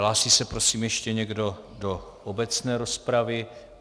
Hlásí se, prosím, ještě někdo do obecné rozpravy.